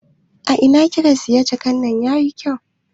A ina kika siya jakan nan yayi kyau?